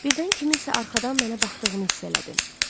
Birdən kimsə arxadan mənə baxdığını hiss elədim.